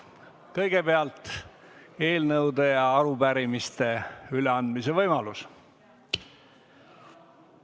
Kõigepealt eelnõude ja arupärimiste üleandmise võimalus.